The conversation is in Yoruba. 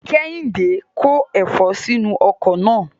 Kehinde ko efo sinu oko naa